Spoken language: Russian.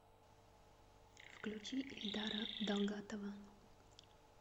включи эльдара далгатова